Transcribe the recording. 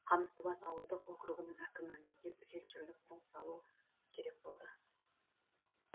қамыстыбас ауылдық округінің әкімі мектеп фельдшерлік пункт салу керек болды